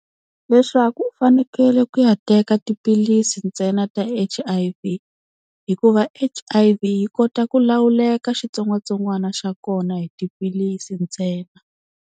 Leswaku u fanekele ku ya teka tiphilisi ntsena ta H_I_V hi ku H_I_V yi kota ku lawuleka xitsongwatsongwana xa kona hi tiphilisi ntsena.